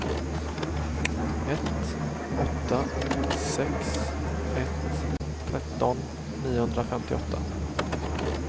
ett åtta sex ett tretton niohundrafemtioåtta